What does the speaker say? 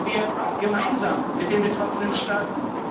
Handeln wir gemeinsam mit den betroffenen Staaten!